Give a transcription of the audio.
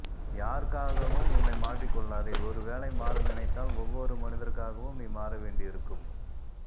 யாருக்காகவும் உன்னை மாற்றிக் கொள்ளாதே ஒருவேளை மாற நினைத்தால் ஒவ்வொரு மனிதருக்காகவும் நீ மாற வேண்டியிருக்கும்